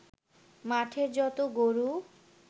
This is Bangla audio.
মাঠের যত গরু